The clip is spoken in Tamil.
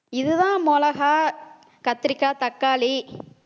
இதுதான் மிளகாய், கத்திரிக்காய், தக்காளி